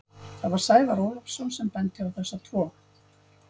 Það var Sævar Ólafsson sem benti á þessa tvo.